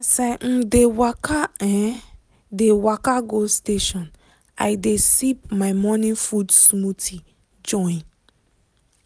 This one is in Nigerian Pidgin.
as i um dey waka um dey waka go station i dey sip my morning food smoothie join.